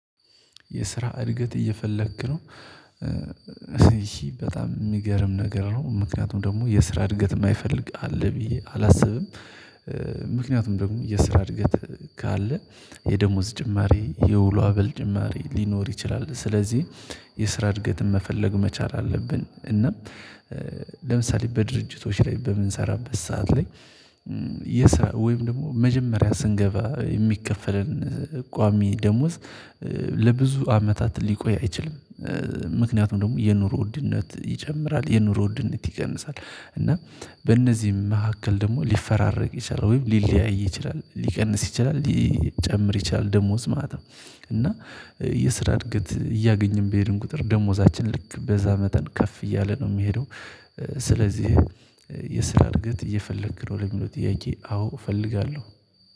የስራ እድገት እየፈለክ ነው? እሺ በጣም የሚገርም ነገር ነው ምክንያቱም ደግሞ የስራ እድገት የማይፈልግ አለ ብዬ አላስብም ምክንያቱም ደግሞ የስራ እድገት ካለ የደሞዝ ጭማሪ፣ የውሎ አበል ጭማሪ ሊኖር ይችላል ስለዚህ የስራ እድገትን መፈለግ መቻል አለብን እና ለምሳሌ በድርጅቶች ላይ በምንሰራበት ሰዓት ላይ የሰራ ወይም ደግሞ መጀመሪያ ስንገባ የሚከፈለን ቋሚ ደሞዝ ለብዙ አመታት ሊቆይ አይችልም። ምክንያቱም ደግሞ የኑሮ ውድነት ይጨምራል የኑሮ ውድነት ይቀንሳል እና በእነዚህም መካከል ደግሞ ሊፈራረቅ ይችላል ወይም ሊለያይ ይችላል ሊቀንስ ይችላል፣ ሊጨምር ይችላል ደሞዝ ማለት ነው እና የስራ እድገት እያገኘን በሄድን ቁጥር ደሞዛችን ልክ በዛ መጠን ከፍ እያለ ነው የሚሄደው ስለዚህ የስራ እድገት እየፈለክ ነው ለሚሉት ጥያቄ አዎ እፈልጋለሁ።